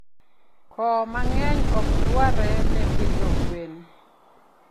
Koh mangeny okdwarre ne pidho gwen